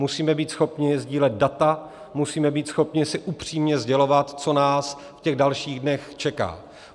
Musíme být schopni sdílet data, musíme být schopni si upřímně sdělovat, co nás v těch dalších dnech čeká.